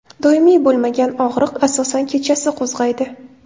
Doimiy bo‘lmagan og‘riq asosan kechasi qo‘zg‘aydi.